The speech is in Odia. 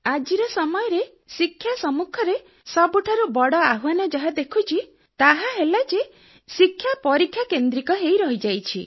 ଆଜିର ସମୟରେ ଶିକ୍ଷା ସମ୍ମୁଖରେ ସବୁଠାରୁ ବଡ଼ ଆହ୍ୱାନ ଯାହା ଦେଖୁଛି ତାହା ହେଲା ଯେ ଶିକ୍ଷା ପରୀକ୍ଷା କେନ୍ଦ୍ରିତ ହୋଇ ରହିଯାଇଛି